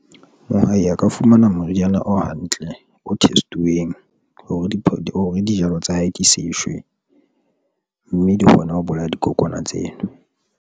Mohai a ka fumana moriana o hantle, o test-uweng hore dijalo tsa hae di seshwe mme di kgona ho bolaya dikokwana tseno.